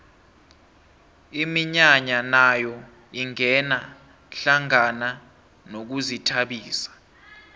iminyanya nayo ingena hlangana nokuzithabisa